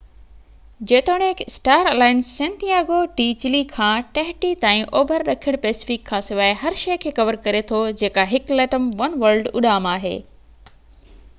جيتوڻيڪ star alliance Santiago de Chile کان Tahiti تائين اوڀر ڏکڻ پئسفڪ کان سواءِ هر شيءَ کي ڪَوَر ڪري ٿو جيڪا هڪ ليٽم ون ورلڊ اڏام آهي